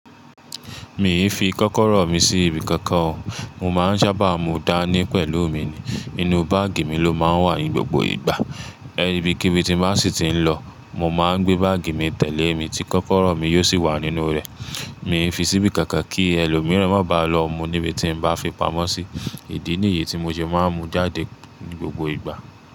Mi ì fi kọ́kọ́rọ́ mi sí ibi kankan o, mo máa ń ṣábà mú u dání pẹ̀lú mi ni. Inú báàgì mi ló máa ń wà ní gbogbo ìgbà. Ibikíbi tí n bá sì ti ń lọ, mo máa ń gbé báàgì mi tẹ̀lé mi tí kọ́kọ́rọ́ mi yóò sì wà nínú rẹ̀. Mi fi síbí kankan kí ẹlòmíràn má ba lọ mú níbi tí n bá fi pamọ́ sí. Ìdí nìyí tí mo ṣe máa ń mú jáde ní gbogbo ìgbà.